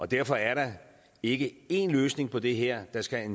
derfor er der ikke én løsning på det her der skal